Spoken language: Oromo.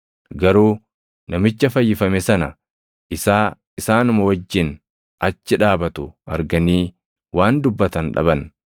Garuu namicha fayyifame sana isaa isaanuma wajjin achi dhaabatu arganii waan dubbatan dhaban.